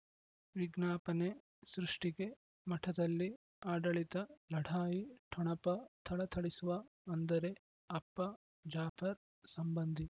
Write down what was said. ವಿಜ್ಞಾಪನೆ ಸೃಷ್ಟಿಗೆ ಮಠದಲ್ಲಿ ಆಡಳಿತ ಲಢಾಯಿ ಠೊಣಪ ಥಳಥಳಿಸುವ ಅಂದರೆ ಅಪ್ಪ ಜಾಫರ್ ಸಂಬಂಧಿ